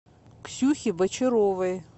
ксюхе бочаровой